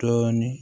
Dɔɔni